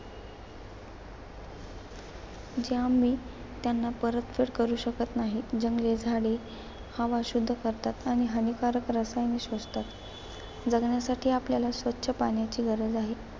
जे आम्ही त्यांना परतफेड करू शकत नाही. जंगले झाडे हवा शुद्ध करतात आणि हानिकारक रसायने शोषतात. जगण्यासाठी आपल्याला स्वच्छ पाण्याची गरज आहे.